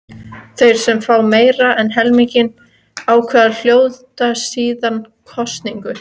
Þeir sem fá meira en helming atkvæða hljóta síðan kosningu.